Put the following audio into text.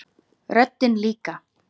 Röddin líka.